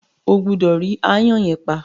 O gbúdọ̀ rí “aáyán” yẹn pa.